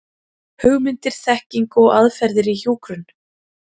Hugmyndir, þekking og aðferðir í hjúkrun.